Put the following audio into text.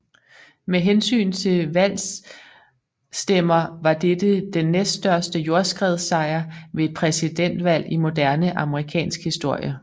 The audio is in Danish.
Med hensyn til valgstemmer var dette den næststørste jordskredssejr ved et præsidentvalg i moderne amerikansk historie